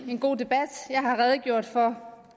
god debat jeg har redegjort for